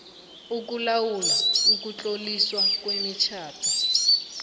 ukulawula ukutloliswa kwemitjhado